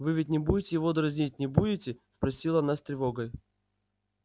вы ведь не будете его дразнить не будете спросила она с тревогой